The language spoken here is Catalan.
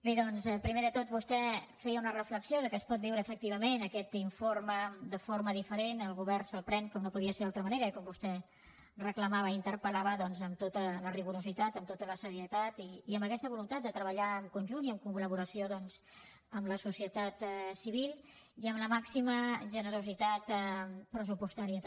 bé doncs primer de tot vostè feia una reflexió que es pot viure efectivament aquest informe de forma diferent el govern se’l pren com no podia ser d’altra manera i com vostè reclamava i interpel·lava doncs amb tot el rigor amb tota la serietat i amb aquesta voluntat de treballar en conjunt i en col·laboració doncs amb la societat civil i amb la màxima generositat pressupostària també